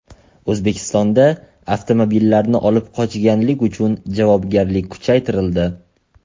O‘zbekistonda avtomobillarni olib qochganlik uchun javobgarlik kuchaytirildi.